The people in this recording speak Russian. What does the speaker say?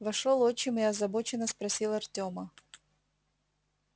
вошёл отчим и озабоченно спросил артема